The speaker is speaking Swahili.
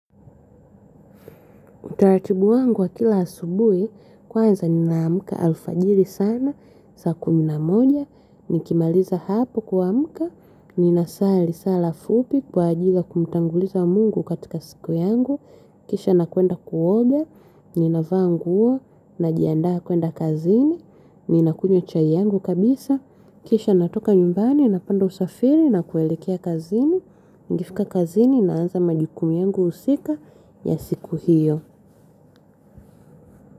Utaratibu wangu wa kila asubui, kwanza nina amka alfajiri sana, saa kumi na moja, nikimaliza hapo kuamka, ninasali sala fupi kwa ajili kumutanguliza mungu katika siku yangu, kisha nakwenda kuoga nina vaa nguo, najiandaa kwenda kazini, ninakunywa chai yangu kabisa, kisha natoka nyumbani, napanda usafiri, nakuelekea kazini, nikifika kazini, naanza majukumu yangu usika ya siku hiyo.